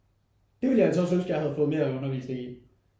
Det ville jeg altså også ønske jeg havde fået noget mere undervisning i